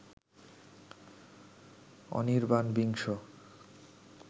অনির্বাণ বিংশ